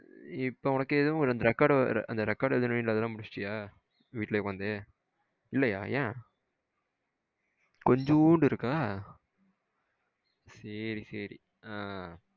இப்போ உனக்கு எதுவும் record record எழுதனும்னா அதெல்லாம் முடிச்சிட்டியா? விட்டுலையே உக்காந்து இல்லையா? என கொஞ்சோண்டு இருக்கா? சேரி சேரி ஆ